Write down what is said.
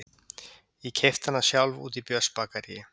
Ég keypti hana sjálf úti í Björnsbakaríi